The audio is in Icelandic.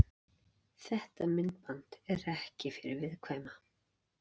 Þetta myndband er ekki fyrir viðkvæma.